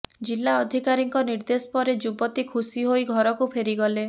ଜିଲ୍ଲା ଅଧିକାରୀଙ୍କ ନିର୍ଦ୍ଦେଶ ପରେ ଯୁବତୀ ଖୁସି ହୋଇ ଘରକୁ ଫେରିଗଲେ